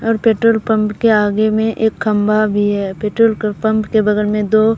और petrol pump के आगे में एक खंभा भी है पेट्रोल क पंप के बगल में दो--